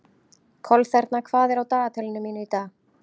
Kolþerna, hvað er á dagatalinu mínu í dag?